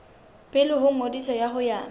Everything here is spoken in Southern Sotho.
pele ho ngodiso ho ya